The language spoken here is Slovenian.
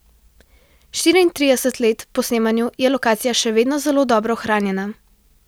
Štiriintrideset let po snemanju je lokacija še vedno zelo dobro ohranjena.